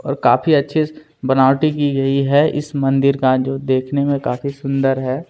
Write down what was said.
और काफी अच्छी बनावटी की गई है इस मंदिर का जो देखने में काफी सुंदर है ।.